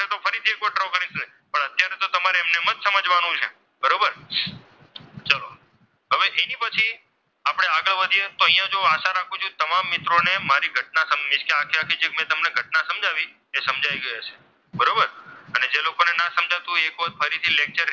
તો આશાવાદી અહીંયા હું આશા રાખું છું તમામ મિત્રોને મારી ઘટના ને તે મેં જે તમને ઘટના સમજાવી તે સમજાવી ગયું હશે બરોબર અને જે લોકોને ના સમજાતું હોય એ ફરીથી lecture